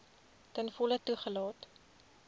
ten volle toegelaat